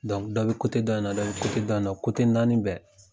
dɔ bɛ dɔ in na dɔ bɛ dɔ in na naani bɛɛ.